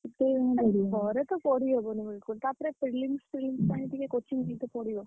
ଘରେ ତ ପଢିହବନି ବିଲକୁଲ ତାପରେ prelims prelims ପାଇଁ ଟିକେ coaching ନେଇତେ ପଡିବ।